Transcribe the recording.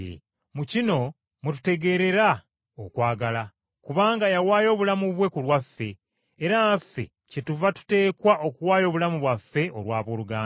Mu kino mwe tutegeerera okwagala, kubanga yawaayo obulamu bwe ku lwaffe, era naffe kyetuva tuteekwa okuwaayo obulamu bwaffe olw’abooluganda.